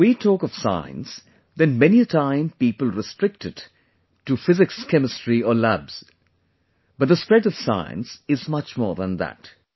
when we talk of science then many a time people restrict it to physicschemistry or labs, but the spread of science is much more than that